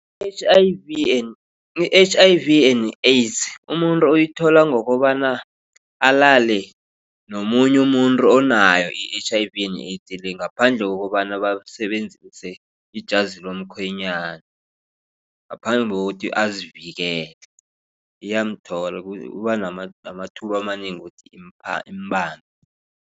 I-H_I_V and i-H_I_V and AIDS umuntu uyithola ngokobana alale nomunye umuntu onayo i-H_I_V and i-AIDS le ngaphandle kokobana basebenzise ijazi lomkhwenyana. Ngaphandle kokuthi azivikele iyamthola uba namathuba amanengi ukuthi imbambe.